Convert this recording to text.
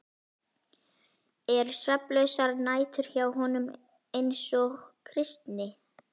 Eru svefnlausar nætur hjá honum eins og Kristni?